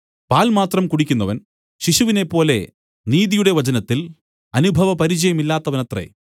പാൽ മാത്രം കുടിക്കുന്നവൻ ശിശുവിനെപ്പോലെ നീതിയുടെ വചനത്തിൽ അനുഭവപരിചയമില്ലാത്തവനത്രേ